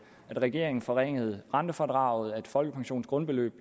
regeringen forringede rentefradraget at folkepensionens grundbeløb